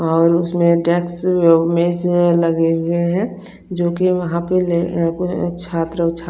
और उसमे टेक्स मेसे लगे हुए है जो की वहा पे ले अ छात्र छत्र--